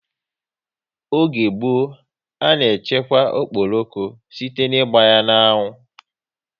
Oge gboo, a na echekwa okporoko site ná ịgba ya n'anwu